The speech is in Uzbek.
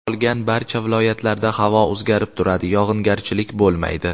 Qolgan barcha viloyatlarda havo o‘zgarib turadi, yog‘ingarchilik bo‘lmaydi.